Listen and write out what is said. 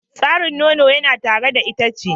Tsarin nono yana tare da itace.